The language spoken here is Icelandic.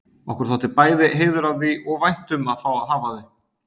Okkur þótti bæði heiður af því og vænt um að fá að hafa þau.